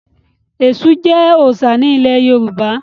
Ẹ̀ṣù jẹ́ òòṣà ilẹ̀ Yorùbá.